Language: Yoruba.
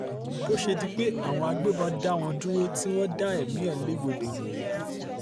bó ṣe di pé àwọn agbébọn dá wọn dúró tí wọ́n dá ẹ̀mí ẹ̀ légbodò nìyí